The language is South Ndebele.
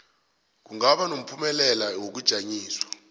kungaba nomphumela wokujanyiswa